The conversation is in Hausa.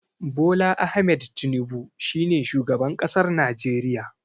Bola Ahmed Tinibu shine shugaban ƙasar najeriya.